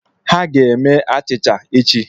Ha ga-eme achịcha echi.